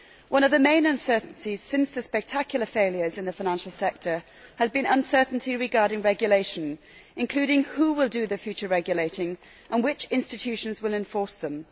One of the main uncertainties since the spectacular failures in the financial sector has been uncertainty regarding regulation, including who will do the future regulating and which institutions will enforce them.